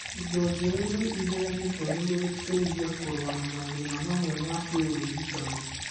Indo njerũ nĩi heanĩtwo nĩguo gũteithia kũrũa na mathĩna mamwe ma kĩũrigitani